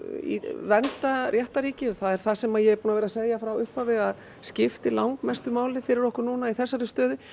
vernda réttarríkið og það er það sem ég er búin að vera að segja frá upphafi að skipti langmestu máli fyrir okkur núna í þessari stöðu